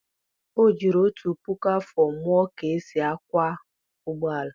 o jiri otu puku afọ mụọ ka e si akwọ ụgbọ ala